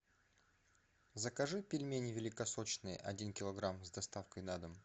закажи пельмени великосочные один килограмм с доставкой на дом